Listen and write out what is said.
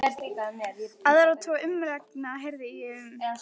Aðra tvo umrenninga heyrði ég um.